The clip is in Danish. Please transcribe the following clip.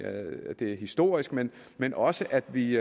at det er historisk men men også at vi